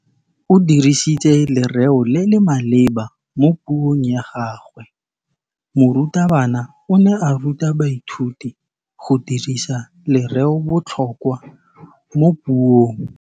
O dirisitse lerêo le le maleba mo puông ya gagwe. Morutabana o ne a ruta baithuti go dirisa lêrêôbotlhôkwa mo puong.